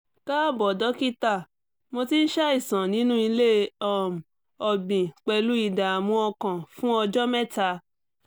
káàbọ̀ dókítà mo ti ń ṣàìsàn nínú ilé um ọ̀gbìn pẹ̀lú ìdààmú ọkàn fún ọjọ́ mẹ́ta